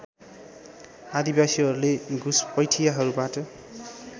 आदिवासीहरूले घुसपैठियाहरूबाट